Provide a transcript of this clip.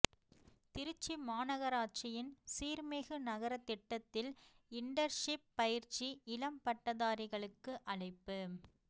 திருச்சி மாநகராட்சியின் சீா்மிகு நகரதிட்டத்தில் இன்டன்ஷிப் பயிற்சி இளம் பட்டதாரிகளுக்கு அழைப்பு